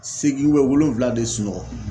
A seegin bɛ wolonwula de sunɔgɔ